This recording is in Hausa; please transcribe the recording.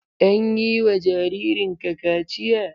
An yi wa jaririn ka kaciya?